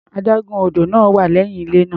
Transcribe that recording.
Adágún odò náà wà lẹ́yìn ilé náà.